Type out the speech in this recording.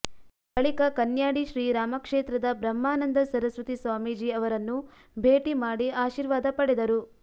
ಬಳಿಕ ಕನ್ಯಾಡಿ ಶ್ರೀ ರಾಮಕ್ಷೇತ್ರದ ಬ್ರಹ್ಮಾನಂದ ಸರಸ್ವತಿ ಸ್ವಾಮೀಜಿ ಅವರನ್ನು ಭೇಟಿ ಮಾಡಿ ಆಶೀರ್ವಾದ ಪಡೆದರು